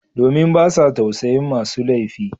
Domin ba sa tausayin masu laifi